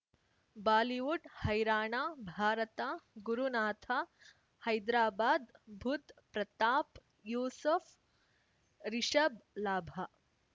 Bollywood ಹೈರಾಣ ಭಾರತ ಗುರುನಾಥ ಹೈದ್ರಾಬಾದ್ ಬುಧ್ ಪ್ರತಾಪ್ ಯೂಸಫ್ ರಿಷಬ್ ಲಾಭ